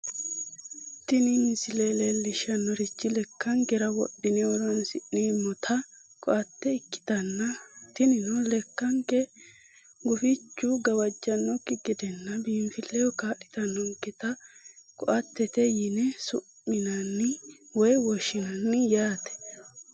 tini misile leellishshannorichi lekkankera wodhine horoonsi'neemmota ko"atte ikkitanna tinino lekkanke gufichu gawajjannokki gedenna biinfilleho kaa'litannonketa ko"attete yine su'minanni woy woshshinanni yaate.